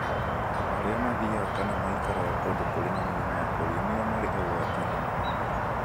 Andũ arĩa mathiaga kana maikaraga kũndũ kũrĩ na mũrimũ wa polio nĩo marĩ ũgwati-inĩ mũnene